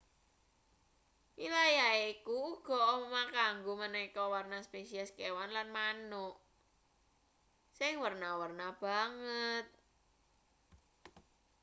wilayahe iku uga omah kanggo maneka warna spesies kewan lan manuk.sing werna-werna banget